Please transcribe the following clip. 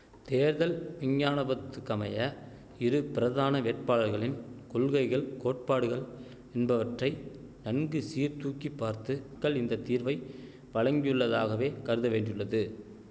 தேர்தல் இஞ்ஞானபத்துக்கமய இரு பிரதான வேட்பாளர்களின் கொள்கைகள் கோட்பாடுகள் என்பவற்றை நன்கு சீர்தூக்கிப்பார்த்து க்கள் இந்த தீர்வை வழங்கியுள்ளதாகவே கருத வேண்டியுள்ளது